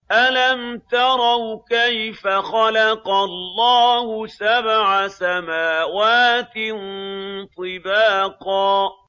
أَلَمْ تَرَوْا كَيْفَ خَلَقَ اللَّهُ سَبْعَ سَمَاوَاتٍ طِبَاقًا